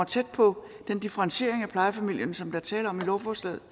tæt på den differentiering af plejefamilierne som der er tale om i lovforslaget